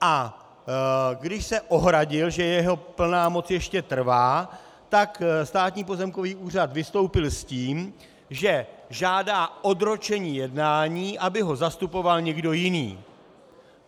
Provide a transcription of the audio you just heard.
A když se ohradil, že jeho plná moc ještě trvá, tak Státní pozemkový úřad vystoupil s tím, že žádá odročení jednání, aby ho zastupoval někdo jiný.